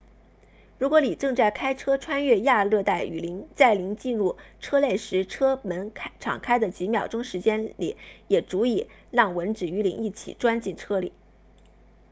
如果您正在开车穿越亚热带雨林在您进入车内时车门敞开的几秒钟时间里也足以让蚊子与您一起钻进车里